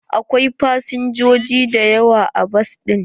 Akwai fasinjoji da yawa a bas ɗin.